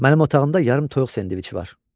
Mənim otağımda yarım toyuq sendviçi var.